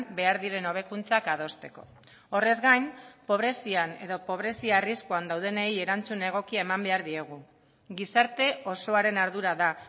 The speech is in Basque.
behar diren hobekuntzak adosteko horrez gain pobrezian edo pobrezia arriskuan daudenei erantzun egokia eman behar diegu gizarte osoaren ardura da